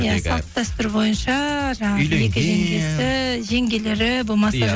иә салт дәстүр бойынша жаңағы екі жеңгесі жеңгелері болмаса иә